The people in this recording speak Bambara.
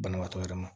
Banabaatɔ yɛrɛ ma